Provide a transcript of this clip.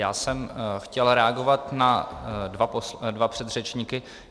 Já jsem chtěl reagovat na dva předřečníky.